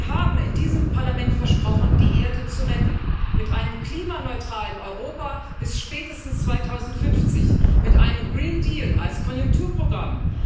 Wir haben in diesem Parlament versprochen, die Erde zu retten mit einem klimaneutralen Europa bis spätestens 2050, mit einem Grünen Deal als Konjunkturprogramm.